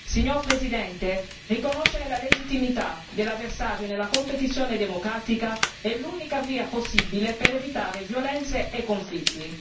Signora Presidente, riconoscere la legittimità dell'avversario nella competizione democratica è l'unica via possibile per evitare violenze e conflitti.